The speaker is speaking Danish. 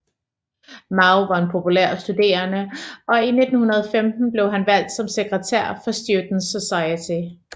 Mao var en populær studerende og i 1915 blev han valgt som sekretær for Students Society